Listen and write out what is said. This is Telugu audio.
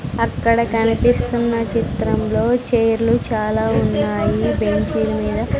అక్కడ కనిపిస్తున్న చిత్రంలో చైర్లు చాలా ఉన్నాయి బెంచీల మీద.